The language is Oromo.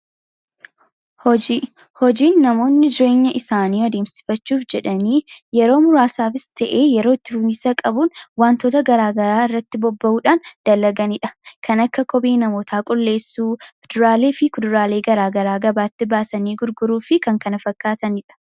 Hojiin namoonni jireenya isaanii adeemsifachuuf jedhanii yeroo muraasaaf ta'ee yeroo turiinsa qabuuf waantota garaagaraa irratti bobba'uudhaan dalaganiidha. Kan akka kophee namoota qulleessuu , fuduraa fi kuduraalee garaagaraa gabaatti baasanii gurguruu fi kanneen kana fakkaatanidha.